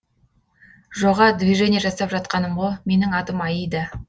жоға движение жасап жатқаным ғо менің атым аида